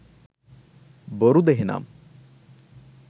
බොරුද එහෙනම්?